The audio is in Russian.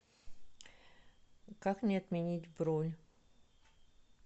как мне отменить бронь